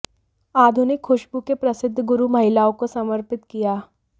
आधुनिक खुशबू के प्रसिद्ध गुरु महिलाओं को समर्पित किया